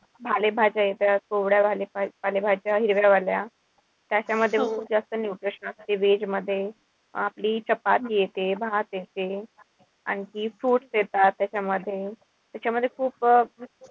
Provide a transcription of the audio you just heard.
पालेभाज्या येतात पालेभाज्या, हिरव्या पालेभाज्या. त्याच्यामध्ये जास्त nutrition असत. ते veg मध्ये आपली चपाती येते. भात येते. आणखी fruits येतात. त्याच्यामध्ये त्याच्यामध्ये खूप,